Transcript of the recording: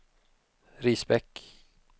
Risbäck